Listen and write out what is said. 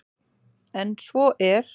En svo er